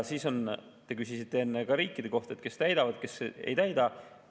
Te küsisite enne riikide kohta, kes täidavad, kes ei täida.